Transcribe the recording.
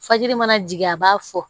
Fajiri mana jigin a b'a fɔ